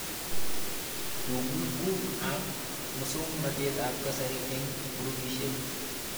Tuguk ab muswognatet ab kasari eng' grupishek